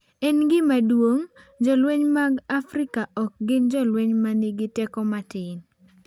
En gima duong’. Jolweny mag Amerka ok gin jolweny ma nigi teko matin.